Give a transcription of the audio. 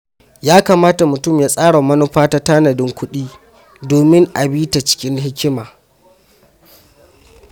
Ya kamata mutum ya tsara manufa ta tanadin kuɗi domin a bi ta cikin hikima.